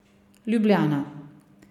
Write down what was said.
Ljubljana.